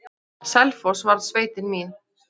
Selfoss varð sveitin mín.